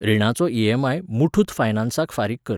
रिणाचो EMI. Muthoot फायनान्साक फारीक कर.